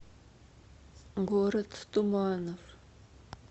город туманов